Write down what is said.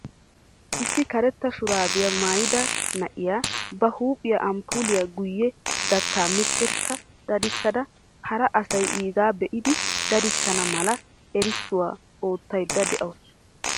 Issi karetta shuraabiya maayida na'iya ba huuphiya amppoolliya giyo dattaa miciirissa dadissada hara asay iigaa be'idi dadissana mala erissuwa oottaydda de'awusu.